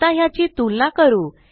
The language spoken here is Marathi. आता ह्याची तुलना करू